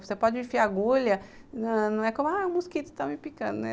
Você pode enfiar agulha, não é como, ah, o mosquito está me picando, né?